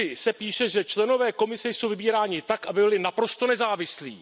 3 se píše, že členové Komise jsou vybíráni tak, aby byli naprosto nezávislí.